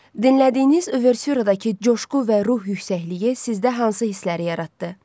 Dinlədiyiniz Uvertüradakı coşğu və ruh yüksəkliyi sizdə hansı hissləri yaratdı?